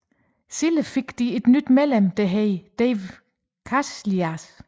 Senere fik de et nyt medlem der hed Dave Casillas